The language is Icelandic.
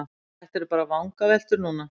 Þetta eru bara vangaveltur núna.